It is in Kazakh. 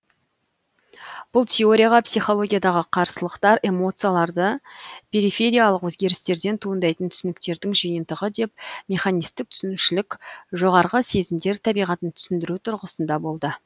бұл теорияға психологиядағы қарсылықтар эмоцияларды перифериялық өзгерістерден туындайтын түсініктердің жиынтығы деп механистік түсінушілік жоғарғы сезімдер табиғатын түсіндіру тұрғысында болды